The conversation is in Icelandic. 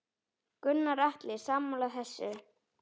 Gunnar Atli: Sammála þessu?